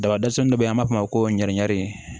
Dabadɔsɔ dɔ bɛ yen an b'a fɔ o ma ko ɲɛnigɛrɛni